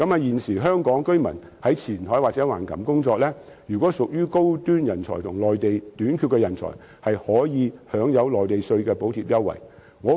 現時香港居民在前海或橫琴工作，如果屬於高端人才和內地短缺人才，可以享有內地稅項的補貼優惠。